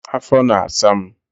afọ na-asa m.